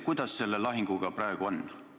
Kuidas selle lahinguga praegu on?